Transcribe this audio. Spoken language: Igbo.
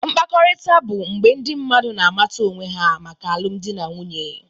Mkpakọrịta bụ mgbe ndị mmadụ na-amata onwe ha maka alụmdi na nwunye.